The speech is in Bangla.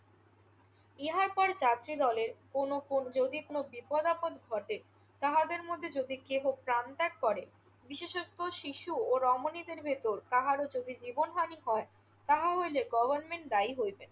ইহার পর যাত্রীদলের কোনো যদি কোনো বিপদাপদ ঘটে, তাহাদের মধ্যে যদি কেহ প্রাণ ত্যাগ করে বিশেষত শিশু ও রমনী ভিতর কাহারো জীবনহানি হয় তাহা হইলে গভর্নমেন্ট দায়ী হইবে।